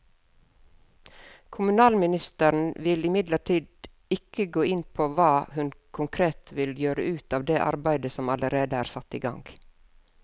Kommunalministeren vil imidlertid ikke gå inn på hva hun konkret vil gjøre ut over det arbeidet som allerede er satt i gang.